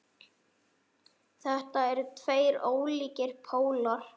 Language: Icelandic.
Þetta eru tveir ólíkir pólar.